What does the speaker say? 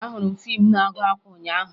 Ahụrụ m fiimu na-agụ akwa ụnyaahụ